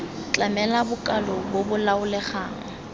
tlamela bokalo bo bo laolegang